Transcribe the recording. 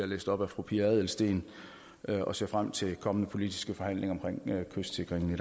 læst op af fru pia adelsteen og ser frem til kommende politiske forhandlinger om kystsikringen